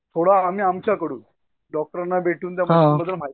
थोडा आम्ही आमच्याकडून डॉक्टरांना भेटून